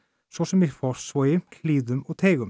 svo sem í Fossvogi Hlíðum og